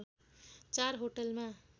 चार होटलमा